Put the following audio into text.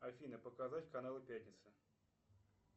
афина показать каналы пятница